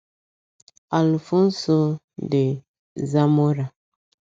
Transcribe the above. Alfonso de Zamora